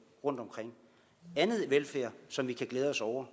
rundtomkring anden velfærd som vi kan glæde os over